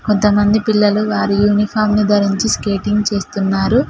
కొంతమంది పిల్లలు వారి యూనిఫాం ను ధరించి స్కేటింగ్ చేస్తున్నారు.